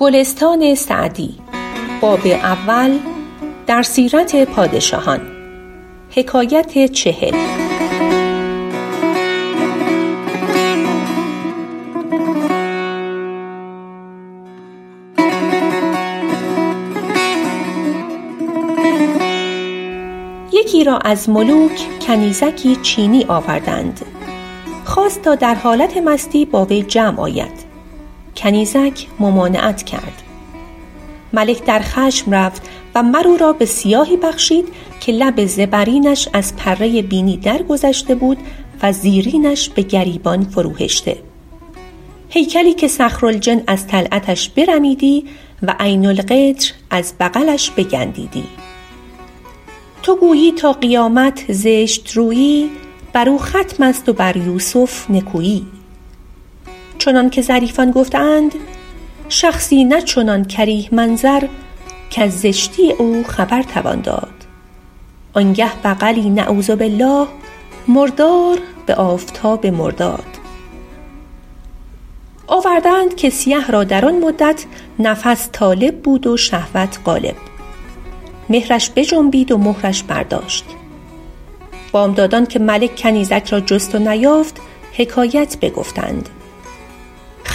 یکی را از ملوک کنیزکی چینی آوردند خواست تا در حالت مستی با وی جمع آید کنیزک ممانعت کرد ملک در خشم رفت و مر او را به سیاهی بخشید که لب زبرینش از پره بینی درگذشته بود و زیرینش به گریبان فرو هشته هیکلی که صخرالجن از طلعتش برمیدی و عین القطر از بغلش بگندیدی تو گویی تا قیامت زشت رویی بر او ختم است و بر یوسف نکویی چنان که ظریفان گفته اند شخصی نه چنان کریه منظر کز زشتی او خبر توان داد آن گه بغلی نعوذ باللٰه مردار به آفتاب مرداد آورده اند که سیه را در آن مدت نفس طالب بود و شهوت غالب مهرش بجنبید و مهرش برداشت بامدادان که ملک کنیزک را جست و نیافت حکایت بگفتند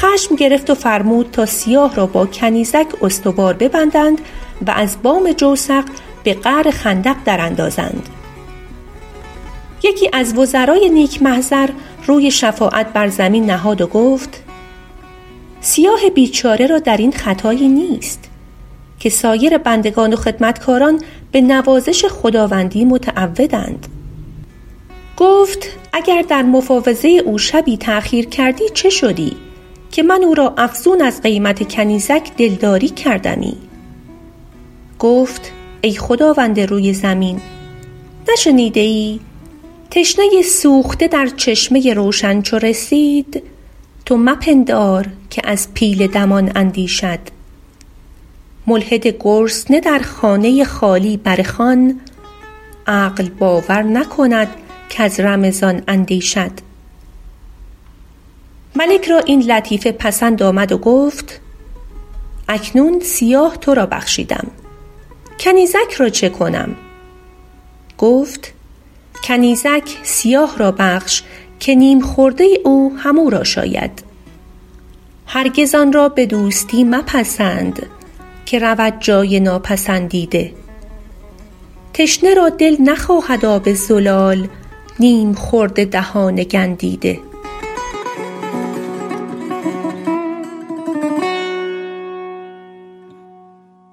خشم گرفت و فرمود تا سیاه را با کنیزک استوار ببندند و از بام جوسق به قعر خندق در اندازند یکی از وزرای نیک محضر روی شفاعت بر زمین نهاد و گفت سیاه بیچاره را در این خطایی نیست که سایر بندگان و خدمتکاران به نوازش خداوندی متعودند گفت اگر در مفاوضه او شبی تأخیر کردی چه شدی که من او را افزون از قیمت کنیزک دلداری کردمی گفت ای خداوند روی زمین نشنیده ای تشنه سوخته در چشمه روشن چو رسید تو مپندار که از پیل دمان اندیشد ملحد گرسنه در خانه خالی بر خوان عقل باور نکند کز رمضان اندیشد ملک را این لطیفه پسند آمد و گفت اکنون سیاه تو را بخشیدم کنیزک را چه کنم گفت کنیزک سیاه را بخش که نیم خورده او هم او را شاید هرگز آن را به دوستی مپسند که رود جای ناپسندیده تشنه را دل نخواهد آب زلال نیم خورد دهان گندیده